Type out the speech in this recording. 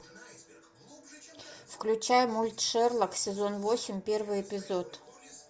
включай мульт шерлок сезон восемь первый эпизод